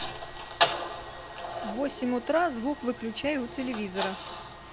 в восемь утра звук выключай у телевизора